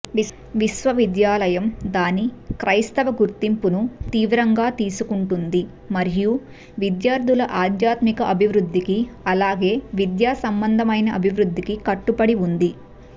విశ్వవిద్యాలయం దాని క్రైస్తవ గుర్తింపును తీవ్రంగా తీసుకుంటుంది మరియు విద్యార్థుల ఆధ్యాత్మిక అభివృద్ధికి అలాగే విద్యాసంబంధమైన అభివృద్ధికి కట్టుబడి ఉంది